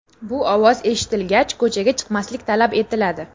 Bu ovoz eshitilgach, ko‘chaga chiqmaslik talab etiladi.